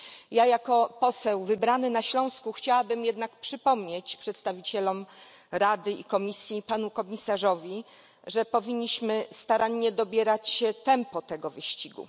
Ja jako poseł wybrany na Śląsku chciałabym jednak przypomnieć przedstawicielom Rady i Komisji oraz panu komisarzowi, że powinniśmy starannie dobierać tempo tego wyścigu.